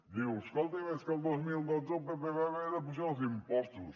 diu escolti és que el dos mil dotze el pp va haver d’apujar els impostos